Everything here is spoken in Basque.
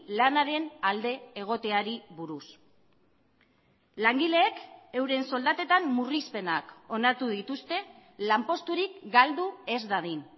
lanaren alde egoteari buruz langileek euren soldatetan murrizpenak onartu dituzte lanposturik galdu ez dadin